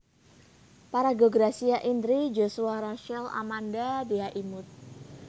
Paraga Gracia Indri Joshua Rachel Amanda Dhea Imut